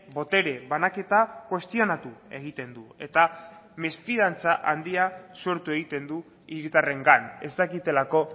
botere banaketa kuestionatu egiten du eta mesfidantza handia sortu egiten du hiritarrengan ez dakitelako